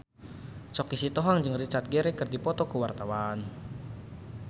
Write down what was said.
Choky Sitohang jeung Richard Gere keur dipoto ku wartawan